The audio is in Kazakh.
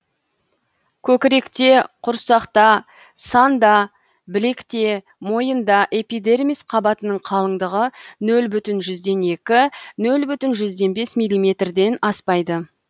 көкіректе құрсақта санда білекте мойында эпидермис қабатының қалыңдығы нөл бүтін жүзден екі нөл бүтін жүзден бес милиметрден аспайды